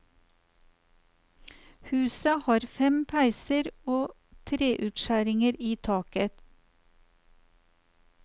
Huset har fem peiser og treutskjæringer i taket.